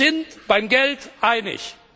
Wir sind uns beim Geld einig.